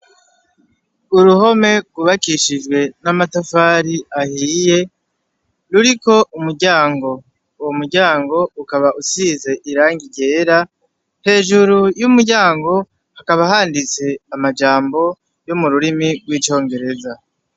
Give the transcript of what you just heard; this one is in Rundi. Uruhome rwubakishijwe n'amatafari ahiye ruriko umuryango, uwo muryango ukaba usize irangi ryera, hejuru y'umuryango hakaba handitse amajambo yo mu rurimi rw'icongereza.